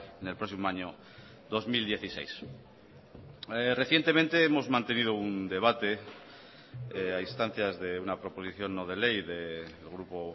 en el próximo año dos mil dieciséis recientemente hemos mantenido un debate a instancias de una proposición no de ley del grupo